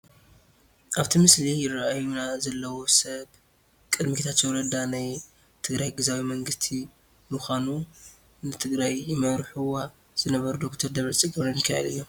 ኣብቲ ምስሊ ይረኣዩና ዘለው ሰብ ቅድሚ ጌታቸው ረዳ ናይ ትግራይ ግዚያዊ መንግስቲ ምዃኑ ንትግራይ ይመርሑዋ ዝነበሩ ዶክተር ደብረፅዮን ገብረሚካኤል እዮም፡፡